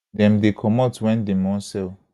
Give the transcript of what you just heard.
dem dey comot wen dem wan sell